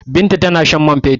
Binta tana shan man fetur.